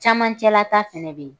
Camancɛ la ta fɛnɛ bɛ yen.